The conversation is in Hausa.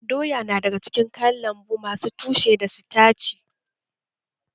Doya na daga cikin kayan lambu masu tushe da sitaci